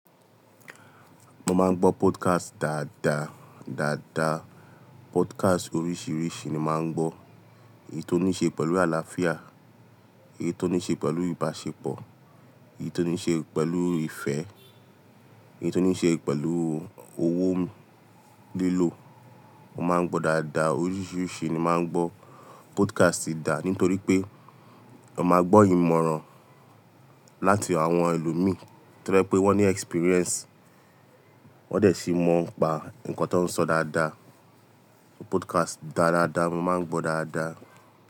Mo máa ń gbọ́ podcast dáadáa. Dáadáa podcast oríṣiríṣi ni màá ń gbọ́. Èyí tó ní ṣe pẹ̀lú àlàáfíà, èyí tó ní ṣe pẹ̀lú ìbáṣepọ̀, èyí tó ní ṣe pẹ̀lú ìfẹ́, èyí tó ní ṣe pẹ̀lú owó lílò. Mo máa ń gbọ́ dáadáa, oríṣiríṣi ni màá ń gbọ́ podcast dá nítorí pé ó máa gbọ́ ìmọ̀ràn láti àwọn ẹlòmíí nítorí pé wọ́n ní experience. Wọ́n dẹ̀ ti mọ̀ pa ǹkan tó ń sọ dáadáa. Podcast dáadáa mo máa ń gbọ́ dáadáa.